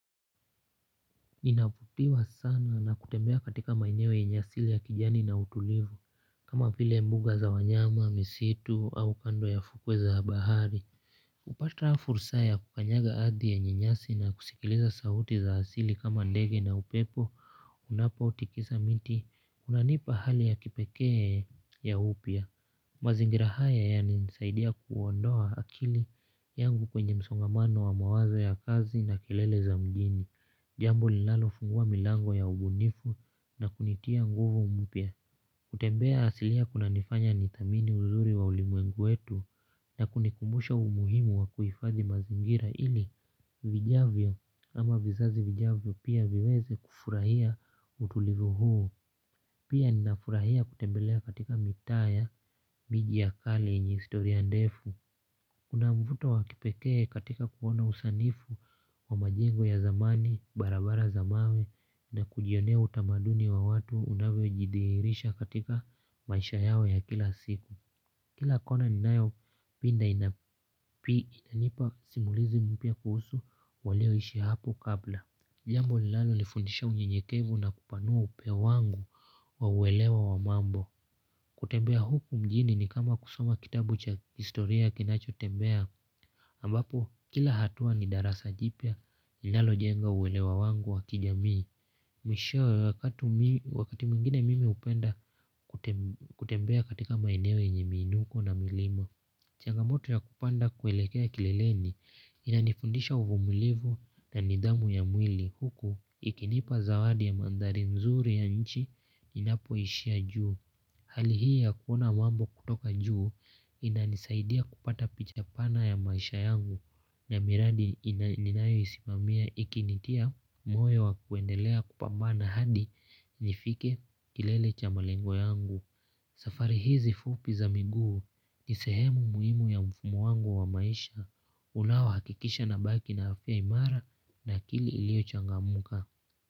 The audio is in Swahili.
Inavutia sana na kutembea katika maeneo yenye asili ya kijani na utulivu. Kama vile mbuga za wanyama, misitu au kando ya fukwe za bahari kupata fursa ya kukanyaga ardhi yenye nyasi na kusikiliza sauti za asili kama ndege na upepo. Unapotikisa miti, unanipa hali ya kipekee ya upya. Mazingira haya yananisaidia kuondoa akili yangu kwenye msongamano wa mawazo ya kazi na kelele za mjini. Jambo lilanofungua milango ya ubunifu na kunitia nguvu mpya. Kutembea asilia kinanifanya nithamini uzuri wa ulimwengu wetu na kunikumbusha umuhimu wa kuhifadhi mazingira ili vijavyo ama vizazi vijavyo pia viweze kufurahia utulivu huu. Pia ninafurahia kutembelea katika mitaa ya, miji ya kale yenye historia ndefu. Kuna mvuto wakipekee katika kuona usanifu wa majengo ya zamani, barabara za mawe na kujionea utamaduni wa watu unavyojidhirisha katika maisha yao ya kila siku. Kila kona ninayopinda inanipa simulizi mpya kuhusu walioishi hapo kabla. Jambo linalonifundisha unyenyekevu nakupanua upea wangu wa uwelewa wa mambo. Kutembea huku mjini ni kama kusoma kitabu cha historia kinachotembea ambapo kila hatua ni darasa jipya linalojenga uwelewa wangu wa kijamii. Mwishowe wakati mwingine mimi hupenda kutembea katika maeneo yenye miinuko na milima. Changamoto ya kupanda kuelekea kileleni inanifundisha uvumilivu na nidhamu ya mwili huku ikinipa zawadi ya mandhari mzuri ya nchi inapoishia juu. Hali hii ya kuona mambo kutoka juu inanisaidia kupata picha pana ya maisha yangu na mradi ninayoisimamia ikinitia moyo wa kuendelea kupambana hadi nifike kilele cha mlengo yangu. Safari hizi fupi za miguu ni sehemu muhimu ya mfumo wangu wa maisha unaohakikisha nabaki na afya imara na akili iliyochangamka.